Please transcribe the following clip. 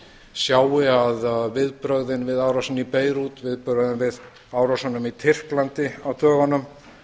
sjái að viðbrögðin við árásinni í beirút viðbrögðin við árásunum í tyrklandi á dögunum